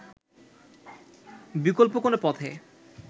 বিকল্প কোনো পথে